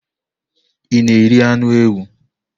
Ị na-eri anụ ewu?